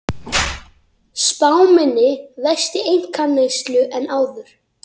Spá minni vexti einkaneyslu en áður